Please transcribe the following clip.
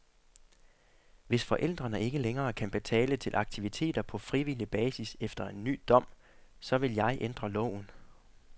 Hvis forældrene ikke længere kan betale til aktiviteter på frivillig basis efter en ny dom, så vil jeg ændre loven.